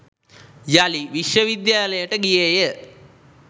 යළි විශ්වවිද්‍යාලයට ගියේය.